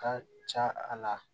Ka ca a la